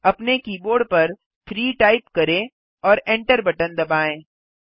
अपने कीबोर्ड पर 3 टाइप करें और एन्टर बटन दबाएँ